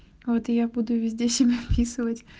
вот и я буду везде себя описывать